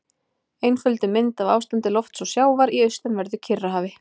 Einfölduð mynd af ástandi lofts og sjávar í austanverðu Kyrrahafi.